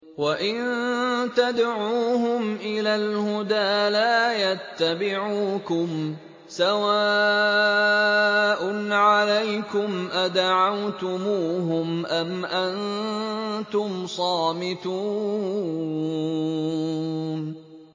وَإِن تَدْعُوهُمْ إِلَى الْهُدَىٰ لَا يَتَّبِعُوكُمْ ۚ سَوَاءٌ عَلَيْكُمْ أَدَعَوْتُمُوهُمْ أَمْ أَنتُمْ صَامِتُونَ